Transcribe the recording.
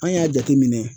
An y'a jateminɛ